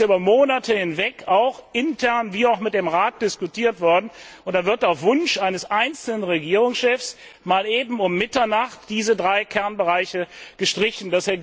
Dies ist ja über Monate hinweg sowohl intern wie auch mit dem Rat diskutiert worden, und dann werden auf Wunsch eines einzelnen Regierungschefs mal eben um Mitternacht diese drei Kernbereiche gestrichen.